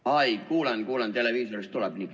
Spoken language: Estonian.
Aa, kuulen, kuulen, televiisorist tuleb.